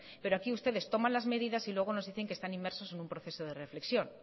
pero aquí ustedes toman las medidas y luego nos dicen que están inmersos en un proceso de reflexión